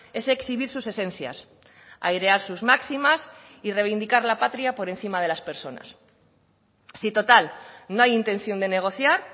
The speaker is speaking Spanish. es exhibir sus esencias airear sus máximas y reivindicar la patria por encima de las personas si total no hay intención de negociar